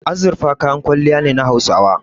Azurfa kayan kwalliya ne na Hausawa.